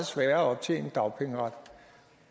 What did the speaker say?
sværere at optjene dagpengeret